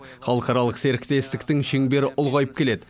халықаралық серіктестіктің шеңбері ұлғайып келеді